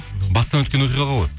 бастан өткен оқиғалар ғой